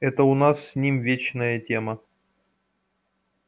это у нас с ним вечная тема